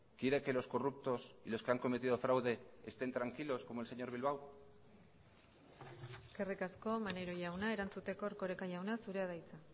quiere que los corruptos y los que han cometido fraude estén tranquilos como el señor bilbao eskerrik asko maneiro jauna erantzuteko erkoreka jauna zurea da hitza